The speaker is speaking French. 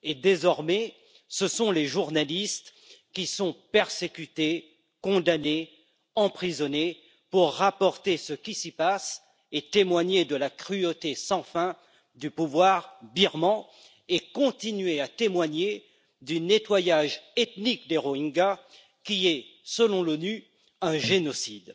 Désormais, ce sont les journalistes qui sont persécutés, condamnés, emprisonnés au motif qu'ils rapportent ce qui s'y passe, témoignent de la cruauté sans fin du pouvoir birman et continuent à témoigner du nettoyage ethnique des Rohingyas qui est, selon l'ONU, un génocide.